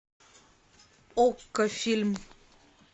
окко фильм